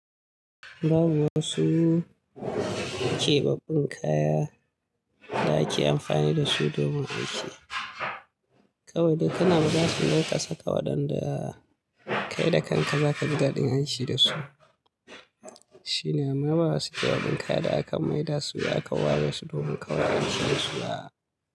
Babu wasu keɓaɓɓun kaya da ake amfani dasu domin aiki. Kawai dai kana rigasu yanka saka waɗanda kai da kanka zaka ji daɗin hanshi dasu. Shine ma babu wasu keɓaɓɓun kaya da aka maida su akawaresu su domin kawai asasu a.